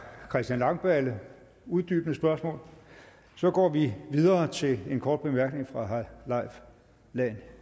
christian langballe uddybende spørgsmål så går vi videre til en kort bemærkning fra herre leif lahn